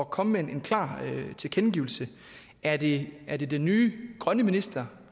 komme med en klar tilkendegivelse er det er det den nye grønne minister